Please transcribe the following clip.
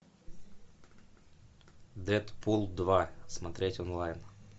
дэдпул два смотреть онлайн